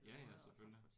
Ja ja selvfølgelig